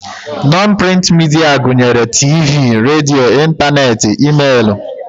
Nọn prịnt midia gụnyere tiivii, radio, ịntaneetị, e-meelụ